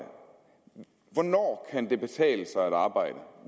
hvornår kan det betale sig at arbejde